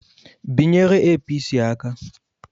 Binyere Apc aka!